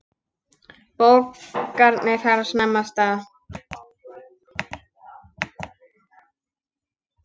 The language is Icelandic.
Bókanir fara snemma af stað.